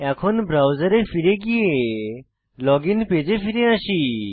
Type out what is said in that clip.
এখন ব্রাউজারে ফিরে গিয়ে লগইন পেজে ফিরে আসি